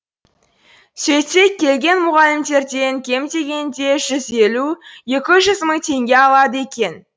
сөйтсек келген мұғалімдерден кем дегенде жүз елу екі жүз мың теңге алады екен